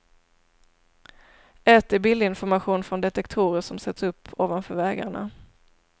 Ett är bildinformation från detektorer som sätts upp ovanför vägarna.